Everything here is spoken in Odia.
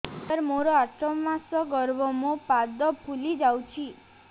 ସାର ମୋର ଆଠ ମାସ ଗର୍ଭ ମୋ ପାଦ ଫୁଲିଯାଉଛି